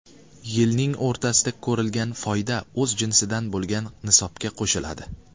Yilning o‘rtasida ko‘rilgan foyda o‘z jinsidan bo‘lgan nisobga qo‘shiladi.